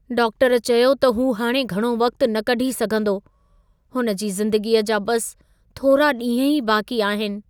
Doctor चयो त हू हाणे घणो वक़्तु न कढी सघंदो, हुन जी ज़िंदगीअ जा बसि थोरा ॾींह ई बाक़ी आहिनि।